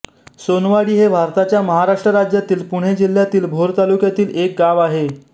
सोनवाडी हे भारताच्या महाराष्ट्र राज्यातील पुणे जिल्ह्यातील भोर तालुक्यातील एक गाव आहे